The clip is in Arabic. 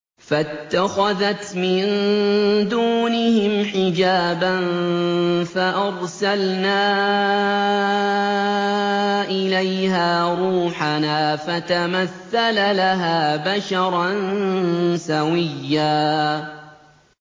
فَاتَّخَذَتْ مِن دُونِهِمْ حِجَابًا فَأَرْسَلْنَا إِلَيْهَا رُوحَنَا فَتَمَثَّلَ لَهَا بَشَرًا سَوِيًّا